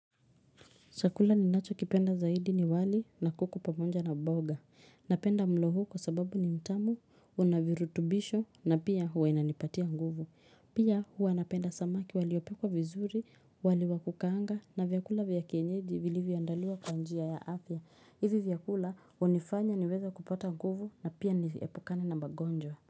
Chakula ni nacho kipenda zaidi ni wali na kuku pamoja na mboga. Napenda mlo huu kwa sababu ni mtamu, unavirutubisho na pia huwa inanipatia nguvu. Pia huwa napenda samaki waliopikwa vizuri, wali wa kukaanga na vyakula vyakienyeji vilivyoandaliwa kwa njia ya afya. Hivi vyakula hunifanya niweze kupata nguvu na pia niepukane na magonjwa.